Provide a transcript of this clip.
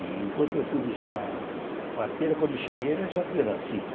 E enquanto eu fui buscar a parteira, quando eu cheguei, ela já tinha nascido.